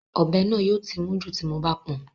Ọ̀bẹ náà yóò ti mún jù tí mo bá pọn